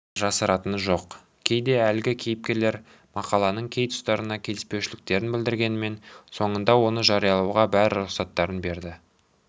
жасыратыны жоқ кейде әлгі кейіпкерлер мақаланың кей тұстарына келіспеушіліктерін білдіргенімен соңында оны жариялауға бәрі рұқсаттарын берді